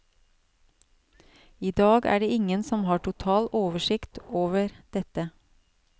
I dag er det ingen som har total oversikt over dette.